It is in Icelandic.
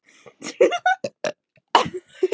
Kristján Már Unnarsson: Öll rómantík farin af þessu?